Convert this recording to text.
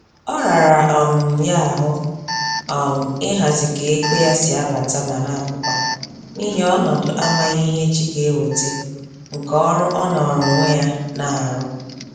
Ọ rara um ya ahụ um ihazi ka ego ya si abata ma napụkwa, n'ihi ọnọdụ amaghị ihe echi ga-eweta nke ọrụ ọ nọọrọ onwe ya na-arụ